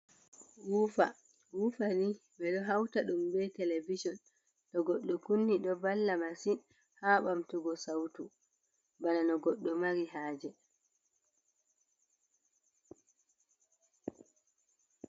Wufa wufa ni ɓe do hauta ɗum be televison to goddo kunni do valla masin ha ɓamtugo sautu bana no goddo mari haje.